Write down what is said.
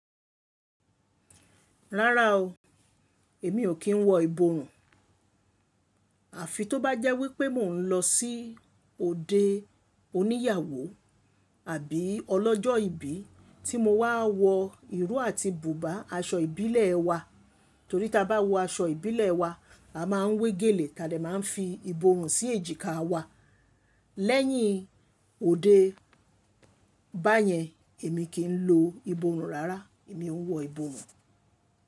Rárá o, èmi ò kí ń wọ ìborùn. Àfi tó bá jẹ́ wípé mò ń lọ sí òde oníyàwó àbí ọlọ́jọ́ ìbí tí mo máa wọ ìró àti bùbá, aṣọ ìbílẹ̀ wa. Torí tí a bá wọ aṣọ ìbílẹ̀ wa, a máa ń wé gèlè tàbí a máa ń fi ìborùn sí èjìká wa. Lẹ́yìn òde báyẹn èmi kì ń lo ìborùn rárá, èmi ò ń wọ ìborùn.